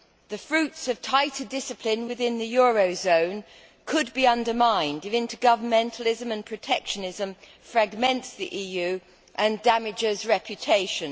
The fruits of tighter discipline within the eurozone could be undermined if intergovernmentalism and protectionism fragments the EU and damages reputation.